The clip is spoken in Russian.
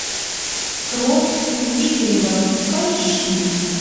кровь викингов поищи